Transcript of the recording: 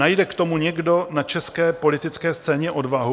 Najde k tomu někdo na české politické scéně odvahu?